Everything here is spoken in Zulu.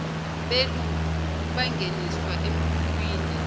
belu bangeniswa emkhukhwini